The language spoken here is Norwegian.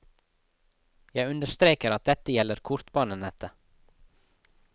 Jeg understreker at dette gjelder kortbanenettet.